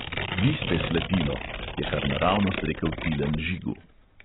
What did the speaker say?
"Vi ste slepilo," je kar naravnost rekel tilen žigu.